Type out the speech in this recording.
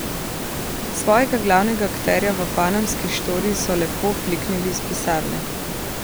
Svojega glavnega akterja v panamski štoriji so lepo fliknili iz pisarne.